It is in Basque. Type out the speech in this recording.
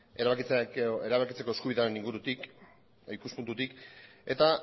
erabakitze eskubidearen ikuspuntutik eta